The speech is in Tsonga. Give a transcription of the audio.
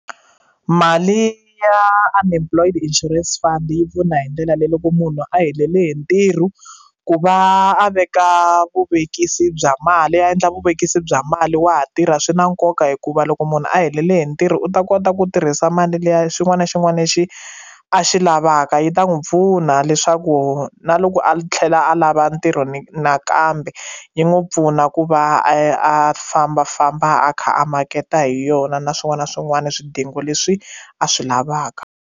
Mali ya Unemployed Insurance Fund yi pfuna hi ndlela leyi loko munhu a helele hi ntirho ku va a veka vuvekisi bya mali ya endla vuvekisi bya mali wa ha tirha swi na nkoka hikuva loko munhu a helele hi ntirho u ta kota ku tirhisa mali leya xin'wana na xin'wana lexi a xi lavaka yi ta n'wi pfuna leswaku na loko a tlhela a lava ntirho nakambe yi n'wi pfuna ku va a fambafamba a kha a maketa hi yona na swin'wana na swin'wana swidingo leswi a swi lavaka.